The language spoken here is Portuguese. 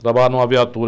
Trabalhava numa viatura.